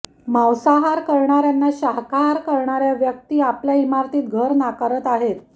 मांसाहार करणाऱ्यांना शाकाहार करणाऱ्या व्यक्ती आपल्या इमारतीत घर नाकारत आहेत